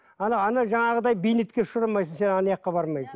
ана ана жаңағыдай бейнетке ұшырамайсың сен бармайсың